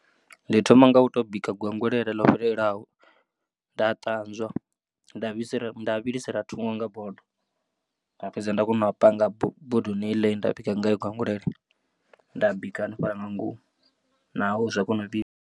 Ndi thoma nga u to bika gwengwelele ḽo fhelelaho nda ṱanzwa nda vhilisa nda vhilisela thungo nga bodo nda fhedza nda kona u panga bodoni heiḽa ine nda bika ngayo gwengwelele nda bika hanefhaḽa nga ngomu nao zwa kona u vhibva.